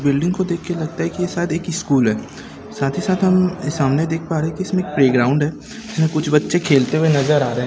building को देख के लगता हैं कि ये शायद एक ही स्कूल हैं साथ ही साथ हम सामने देख पा रहे हैं की इसमें प्लेग्राउंड हैं इसमे कुछ बच्चे खेलते हुए नजर आ रहे--